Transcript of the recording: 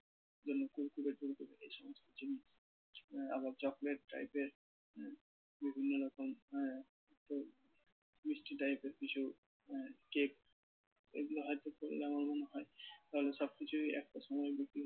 জন্য kurkure টুরকুরে এই সমস্ত জিনিস। আহ আবার chocolate type এর বিভিন্ন রকম মিষ্টি type এর কিছু cake এগুলো হয়তো করলে আমার মনে হয় তালে তাদের সবকিছুই একটা সময়